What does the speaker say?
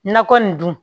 Nakɔ nin dun